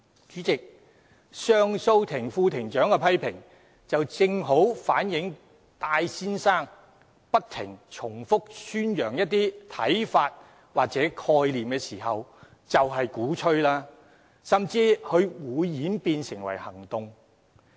"主席，上訴法庭副庭長的批評，正好反映戴先生不斷重複宣揚一些看法或概念時，其實便是鼓吹，甚至會演變成行動。